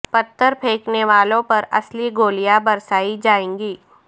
پتھر پھینکنے والوں پر اصلی گولیاں برسائی جائیں گی